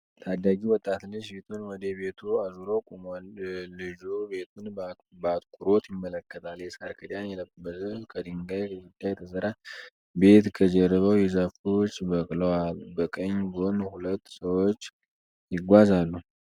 ታዳጊ ወጣት ልጅ ፊቱን ወደ ቤቱ አዞሮ ቆሟል። ልጁ ቤቱን በአትኩሮት ይመለከታል። የሳር ክዳን የለበሰ ከድንጋይ ግድግዳ የተሰራ ቤት ከጀርባዉ የዛፎች በቅለዋል። ከቀኝ ጎን ሁለት ሰዎች ይጓዛሉ።